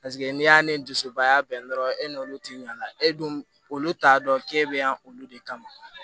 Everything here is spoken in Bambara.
paseke n'e y'ale dusubaya bɛn dɔrɔn e n'olu ti ɲ'ala e dun olu t'a dɔn k'e bɛ yan olu de kama